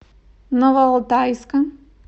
новоалтайска